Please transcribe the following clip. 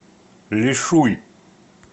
лишуй